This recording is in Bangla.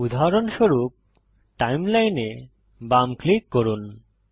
উদাহরণস্বরূপ টাইমলাইন এ বাম ক্লিক করুন